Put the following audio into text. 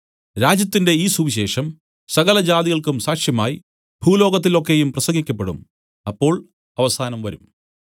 രാജ്യത്തിന്റെ ഈ സുവിശേഷം സകലജാതികൾക്കും സാക്ഷ്യമായി ഭൂലോകത്തിൽ ഒക്കെയും പ്രസംഗിക്കപ്പെടും അപ്പോൾ അവസാനം വരും